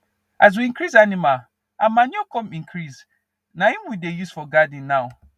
as we increase animal our manure come increase naim we dey use for garden now